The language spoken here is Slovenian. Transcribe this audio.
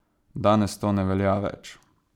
Danes to ne velja več.